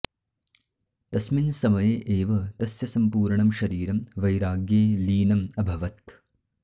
तस्मिन् समये एव तस्य सम्पूर्णं शरीरं वैराग्ये लीनम् अभवत्